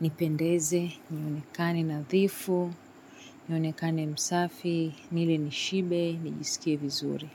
nipendeze, nionekane nadhifu, nionekane msafi, nile nishibe, nijisikie vizuri.